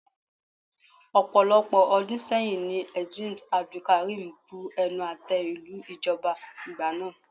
Ọ̀pọ̀lọpọ̀ ọdún sẹ́yìn ní Eedris Abdulkareem bu ẹnu àte lu ìjọba ìgbà náà.